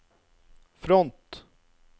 front